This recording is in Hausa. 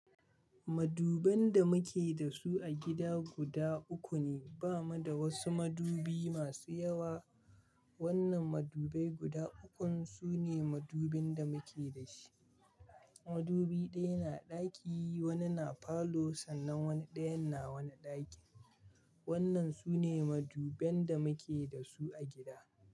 Maduban da muke da su a gida guda uku ne. Ba mu da wasu madubi masu yawa. Wannan madubai guda ukun su ne madubin da muke da shi. Madubi ɗaya na ɗaki, wani na palour sannan wani ɗayan na wani ɗaki. Wannan su ne maduban da muke da su a gida.